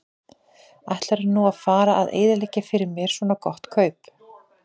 Ætlarðu nú að fara að eyðileggja fyrir mér svona gott kaup?